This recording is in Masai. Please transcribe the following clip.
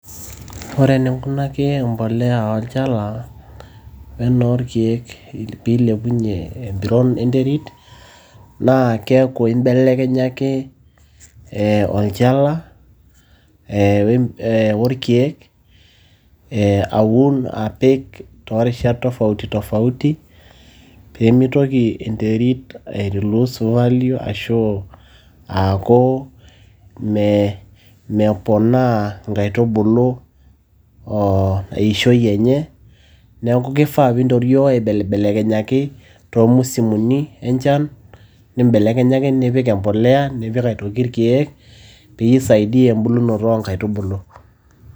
Ore eninkunaki impolea olchala we enoolkeek pee ilepunye empiron enterit naa keaku. imbelekenyaki olchala wo ilkeek aun apik toorishat tofauti tofauti , pee meitoki enterit ai lose value aaku meponaa inkaitubulu eishoi enye neaki keifaa pee intorioo aibelibekenyaki, too musimuni enchan, nimbele nimbelekenyaki nipik empolea nipik aitoki ilkeek pee isaidia embulunoto oo inkaitubulu.